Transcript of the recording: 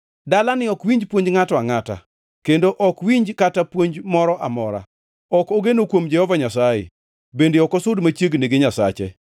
Dalani ok winj puonj ngʼato angʼata, kendo ok owinj kata puonj mora amora. Ok ogeno kuom Jehova Nyasaye, bende ok osud machiegni gi Nyasache.